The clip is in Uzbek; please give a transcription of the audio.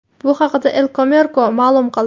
Bu haqda El Comercio ma’lum qildi .